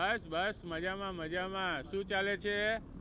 બસ બસ મજા માં મજા માં, શું ચાલે છે?